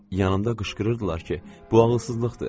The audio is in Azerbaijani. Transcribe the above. Yanımda qışqırırdılar ki, bu ağılsızlıqdır.